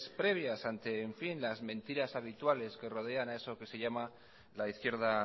previas ante las mentiras habituales que rodean a eso que se llama la izquierda